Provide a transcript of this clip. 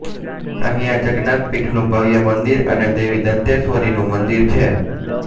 અહિયાં જગન્નાથ પીઠનું ભવ્ય મંદિર અને દેવી દંતેશ્વરીનું મંદિર છે